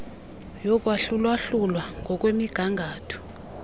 yokwahlula hlula ngokwemigangatho